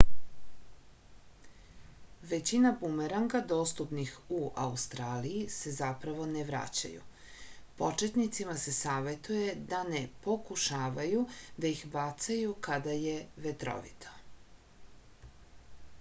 većina bumeranga dostupnih u australiji se zapravo ne vraćaju početnicima se savetuje da ne pokušavaju da ih bacaju kada je vetrovito